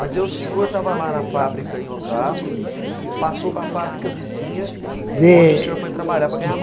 Mas o senhor estava lá na fábrica em Osasco, passou para a fábrica vizinha, Dê onde o senhor foi trabalhar para ganhar